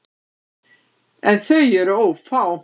En þau eru ófá.